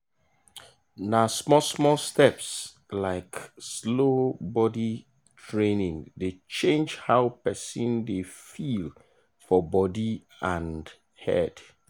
na small-small steps like slow body training dey change how person dey feel for body and head.